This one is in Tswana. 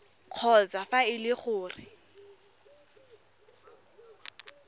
kgotsa fa e le gore